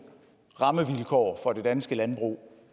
rammevilkår for det danske landbrug